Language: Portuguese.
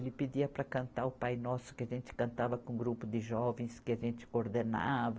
Ele pedia para cantar o Pai Nosso que a gente cantava com um grupo de jovens que a gente coordenava.